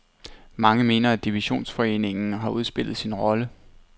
Mange mener, at divisionsforeningen har udspillet sin rolle.